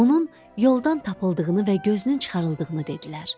Onun yoldan tapıldığını və gözünün çıxarıldığını dedilər.